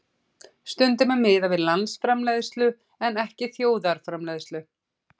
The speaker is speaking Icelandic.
Stundum er miðað við landsframleiðslu en ekki þjóðarframleiðslu.